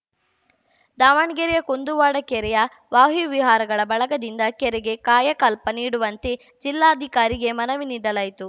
ದಾವಣಗೆರೆಯ ಕುಂದುವಾಡ ಕೆರೆಯ ವಾಯುವಿಹಾರಿಗಳ ಬಳಗದಿಂದ ಕೆರೆಗೆ ಕಾಯಕಲ್ಪ ನೀಡುವಂತೆ ಜಿಲ್ಲಾಧಿಕಾರಿಗೆ ಮನವಿ ನೀಡಲಾಯಿತು